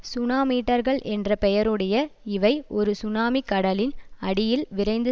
சுனாமீட்டர்கள் என்ற பெயருடைய இவை ஒரு சுனாமி கடலின் அடியில் விரைந்து